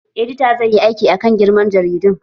Edita zai yi aiki akan girma jaridu